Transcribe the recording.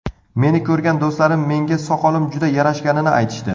Meni ko‘rgan do‘stlarim menga soqolim juda yarashganini aytishdi.